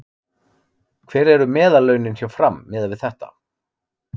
Hver eru meðallaunin hjá Fram miðað við þetta?